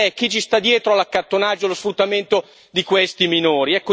Perché, chi sta dietro all'accattonaggio e allo sfruttamento di questi minori?